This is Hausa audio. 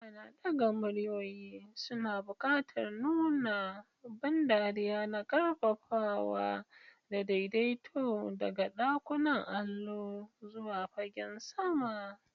Ana ɗaga muryoyi, suna buƙatar nuna ban dariya na ƙarfafawa da daidaito daga ɗakunan allo zuwa fagen fama.